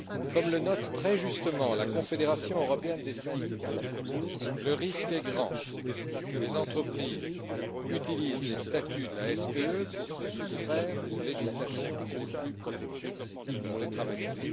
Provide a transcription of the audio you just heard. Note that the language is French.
Comme le note très justement la Confédération européenne des syndicats, le risque est grand que les entreprises utilisent les statuts de la SPE pour se soustraire aux législations les plus protectrices pour les travailleurs.